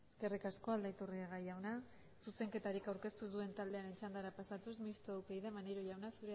eskerrik asko aldaiturriaga jauna zuzenketarik aurkeztu duen taldearen txandara pasatuz mistoa upyd maniero jauna